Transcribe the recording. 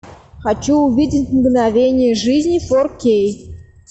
хочу увидеть мгновение жизни фор кей